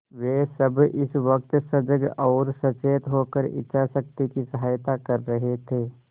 वे सब इस वक्त सजग और सचेत होकर इच्छाशक्ति की सहायता कर रहे थे